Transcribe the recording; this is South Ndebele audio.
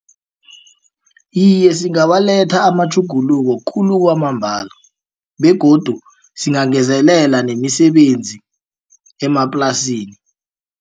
Iye, singawaletha amatjhuguluko khulu kwamambala begodu singangezelela nemisebenzi emaplasini.